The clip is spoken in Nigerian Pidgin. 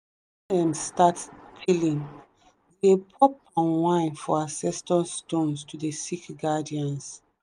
start tiling dey pour palm wine for ancestor stones to dey seek guidance.